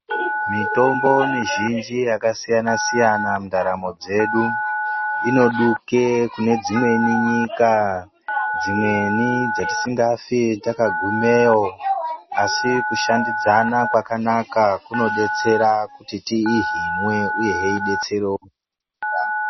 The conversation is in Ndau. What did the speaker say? Mitombo mizhinji yakasiyana siyana mundaramo dzedu inodike kune dzimweni nyika dzimweni dzatikafi takagumeyo asi kushandidzana kwakanaka kunobetsera kuti tihinwe uyewo ubetserewo vamwe .